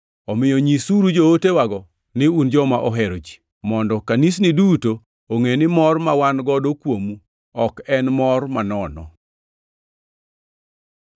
Omiyo nyisuru jootewago ni un joma ohero ji, mondo kanisni duto ongʼe ni mor ma wan godo kuomu ok en mor manono.